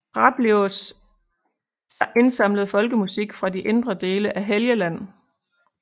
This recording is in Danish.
Rabliås indsamlede folkemusik fra de indre dele af Helgeland